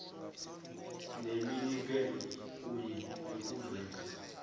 neminikelo kunye nokuveza